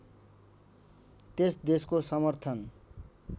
त्यस देशको समर्थन